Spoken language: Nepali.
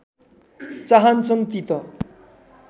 चाहन्छन् ती त